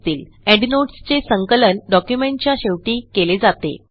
endnotes चे संकलन डॉक्युमेंटच्या शेवटी केले जाते